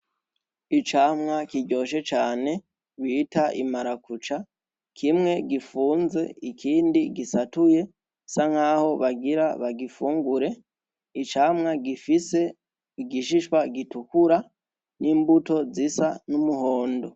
Icamwa kiryoshe cane bita imarakuca kimwe gifunze ikindi gisatuye sa nk'aho bagira bagifungure icamwa gifise igishishwa gitukura n'imbuto zisa n'umuhondo.